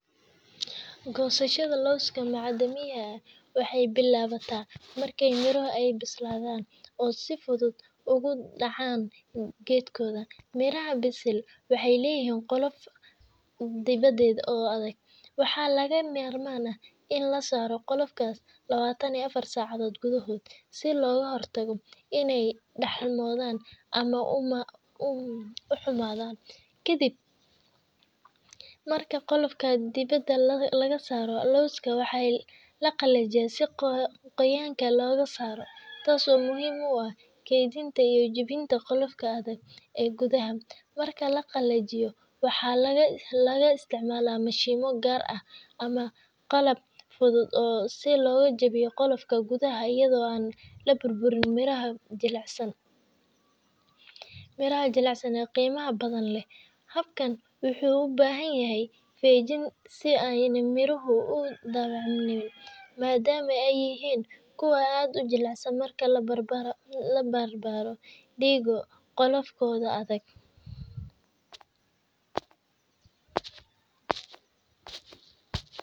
Goosashada lawska macdamiya waxay bilaabataa marka miraha ay bislaadaan oo ay si fudud uga dhacaan geedka. Miraha bisil waxay leeyihiin qolof dibadeed oo adag, waxaana lagama maarmaan ah in la saaro qolofkaas lawatan iyo afar saacadood gudahood si looga hortago inay daxalmaan ama xumaadaan. Ka dib marka qolofka dibadda laga saaro, lawska waxaa la qalajiyaa si qoyaanka looga saaro, taas oo muhiim u ah kaydinta iyo jebinta qolofka adag ee gudaha. Marka la qalajiyo, waxaa la isticmaalaa mashiinno gaar ah ama qalab fudud si loogu jebiyo qolofka gudaha iyadoo aan la burburin miraha jilicsan ee qiimaha badan leh. Habkani wuxuu u baahan yahay feejignaan si aanay miruhu u dhaawacmin, maadaama ay yihiin kuwo aad u jilicsan marka la barbar dhigo qolofkooda adag.